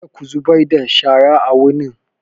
Kada ku zubar da shara a wurin!